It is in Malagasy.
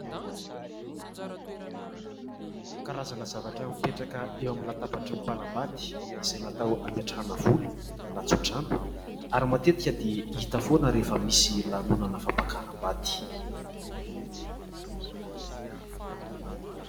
Karazana zavatra mipetraka eo amin'ny latabatry ny mpanambady izay natao hametrahana vola na tsodrano ary matetika dia hita foana rehefa misy lanonana fampakaram-bady.